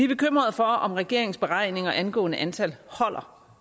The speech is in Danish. bekymrede for om regeringens beregninger angående antallet holder